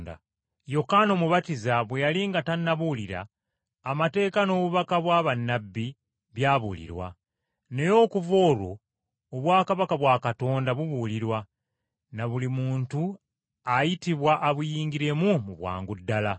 “Yokaana Omubatiza bwe yali nga tannabuulira, amateeka n’obubaka bwa bannabbi byabuulirwa. Naye okuva olwo obwakabaka bwa Katonda bubuulirwa, ne buli muntu ayitibwa abuyingiremu mu bwangu ddala.